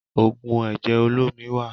Oògùn ẹ̀jẹ̀ olómi wà